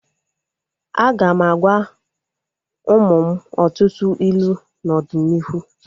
Aga m agwa ụmụ m ọtụtụ ilu n'ọdịnihu